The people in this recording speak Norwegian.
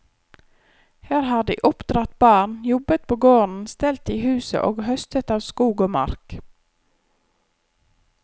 Her har de oppdratt barn, jobbet på gården, stelt i huset og høstet av skog og mark.